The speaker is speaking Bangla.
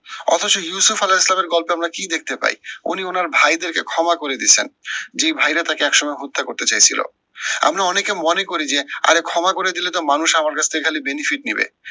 অথচ গল্পে আমরা কি দেখতে পাই, উনি উনার ভাইদেরকে ক্ষমা করে দিছেন। যে ভাইরা তাকে একসময় হত্যা করতে চাইছিলো। আমরা অনেকে মনে করি যে, আরে ক্ষমা করে দিলে তো মানুষ আমার কাছ থেকে খালি benefit নিবে,